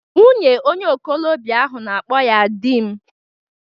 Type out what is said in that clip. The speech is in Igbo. Nwunye onye okolobia ahụ na-akpọ ya di m